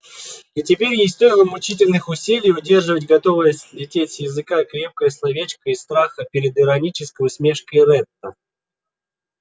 и теперь ей стоило мучительных усилий удерживать готовое слететь с языка крепкое словечко из страха перед иронической усмешкой ретта